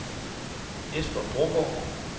Jesper Brogaard